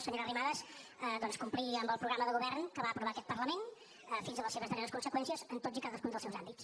senyora arrimadas doncs complir amb el programa de govern que va aprovar aquest parlament fins a les seves darreres conseqüències en tots i cadascun dels seus àmbits